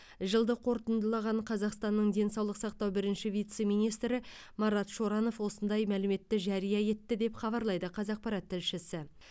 жылды қорытындылаған қазақстанның денсаулық сақтау бірінші вице министрі марат шоранов осындай мәліметті жария етті деп хабарлайды қазақпарат тілшісі